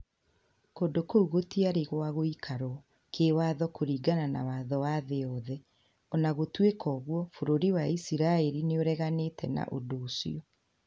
Kũndũ kũu gũtiarĩ gwagũikarwo kĩwatho kũringana na watho wa thĩ yothe, o na gũtuĩka uguo bũrũri wa Iciraĩri nĩ ũreganĩte na ũndũ ũcio.